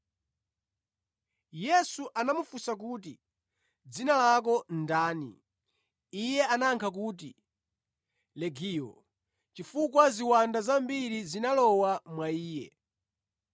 Yesu anamufunsa kuti, “Dzina lako ndani?” Iye anayankha kuti, “Legiyo,” chifukwa ziwanda zambiri zinalowa mwa iye.